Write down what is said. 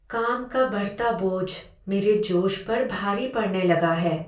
काम का बढ़ता बोझ मेरे जोश पर भारी पड़ने लगा है।